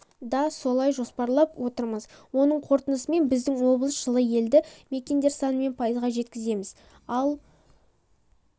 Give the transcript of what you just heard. да солай жоспарлап отырмыз оның қорытындысымен біздің облыс жылы елді мекендер санымен пайызға жеткіземіз ал